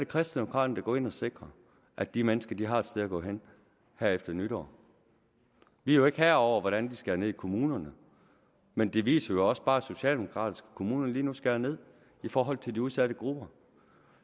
kristendemokraterne der går ind og sikrer at de mennesker har et sted at gå hen efter nytår vi er jo ikke herre over hvordan de skærer ned i kommunerne men det viser også bare at socialdemokratiske kommuner lige nu skærer ned i forhold til de udsatte grupper